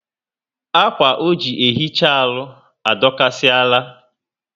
Akwa o ji ehicha arụ adokasi ala